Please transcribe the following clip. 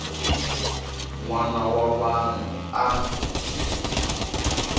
n wana wa vanhu a